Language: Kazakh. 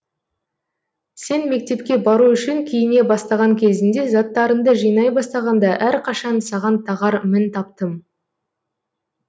сен мектепке бару үшін киіне бастаған кезіңде заттарыңды жинай бастағанда әрқашан саған тағар мін таптым